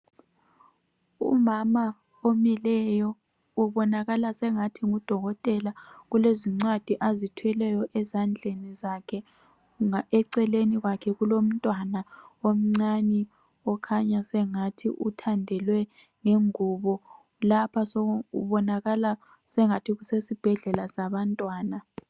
Umama omileyo ubonakala sengathi ngudokotela ulezincwadi azithweleyo ezandleni zakhe eceleni kwakhe kulomntwana omncane okhanya sengathi uthandelwe ngengubo lapha kubonakala sengathi kusesibhedlela sabantwana.